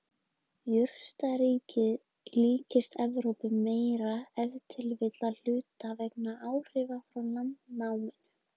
Jurtaríkið líkist Evrópu meira, ef til vill að hluta vegna áhrifa frá landnáminu.